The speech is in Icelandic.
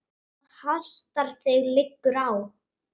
Það hastar: það liggur á.